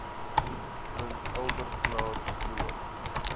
prins albertklaarstroom